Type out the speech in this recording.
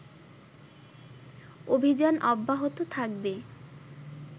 অভিযান অব্যাহত থাকবে